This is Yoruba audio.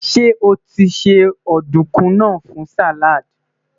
ṣé otise ọdunkun nà fún salad?